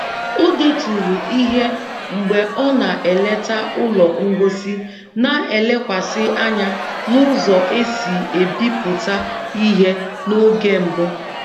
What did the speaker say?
O deturu ihe mgbe ọ na-eleta ụlọ ngosi na-elekwasị anya n'ụzọ e si ebipụta ihe n'oge mbụ